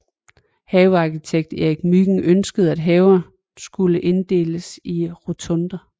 Havearkitekt Erik Mygind ønskede at haverne skulle inddeles i rotunder